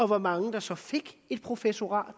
hvor mange der så fik et professorat